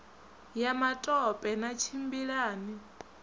ya matope na tshimbila ni